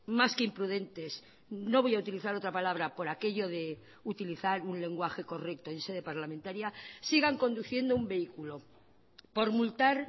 más que imprudentes no voy a utilizar otra palabra por aquello de utilizar un lenguaje correcto en sede parlamentaria sigan conduciendo un vehículo por multar